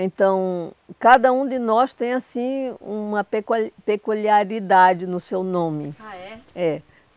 Então, cada um de nós tem, assim, uma peculiaridade no seu nome. Ah, é? É.